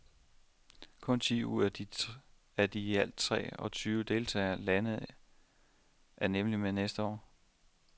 Kun ti ud af de i alt tre og tyve deltagende lande er nemlig med næste år.